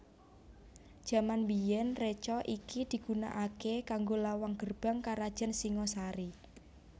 Jaman biyèn reca iki digunakaké kanggo lawang gerbang karajan Singhasari